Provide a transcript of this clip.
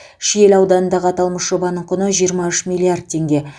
шиелі ауданындағы аталмыш жобаның құны жиырма үш миллиард теңге